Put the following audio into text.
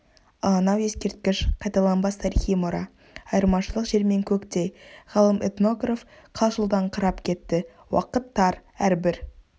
ал анау ескерткіш қайталанбас тарихи мұра айырмашылық жер мен көктей ғалым-этнотраф қалшылдаңқырап кетті уақыт тар әрбір